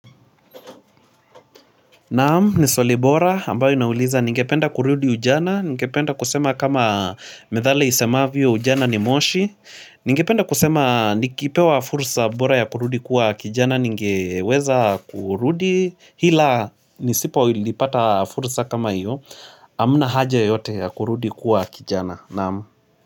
Naam ni swalii bora ambayo inauliza ningependa kurudi ujana ningependa kusema kama methali isemavyo ujana ni moshi ningependa kusema nikipewa fursa bora ya kurudi kuwa kijana ningeweza kurudi ila nisipo lilipata fursa kama hiyo hamna haja yoyote ya kurudi kuwa kijana naam.